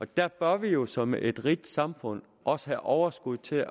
der bør vi jo som et rigt samfund også have overskud til